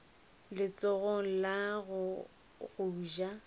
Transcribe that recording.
letsogong la go ja go